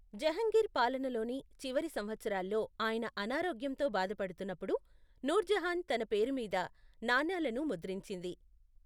జహంగీర్ పాలనలోని చివరి సంవత్సరాల్లో ఆయన అనారోగ్యంతో బాధపడుతున్నప్పుడు నూర్జహాన్ తన పేరు మీద నాణేలను ముద్రించింది.